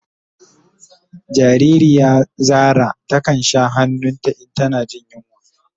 Jariri ya Zara ta kan sha han'nun ta in tana jin yunwa.